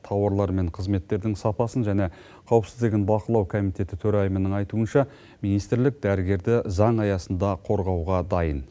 тауарлар мен қызметтердің сапасын және қауіпсіздігін бақылау комитеті төрайымының айтуынша министрлік дәрігерді заң аясында қорғауға дайын